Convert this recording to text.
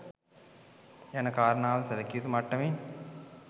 යන කාරණාවද සැලකියයුතු මට්ටමින්